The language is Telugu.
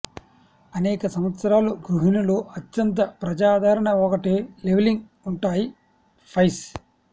అనేక సంవత్సరాలు గృహిణులు అత్యంత ప్రజాదరణ ఒకటి లెవలింగ్ ఉంటాయి పైస్